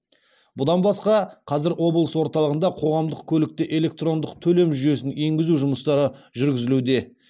бұдан басқа қазір облыс орталығында қоғамдық көлікте электрондық төлем жүйесін енгізу жұмыстары жүргізілуде